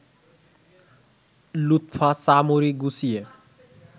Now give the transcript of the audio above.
লুৎফা চা-মুড়ি গুছিয়ে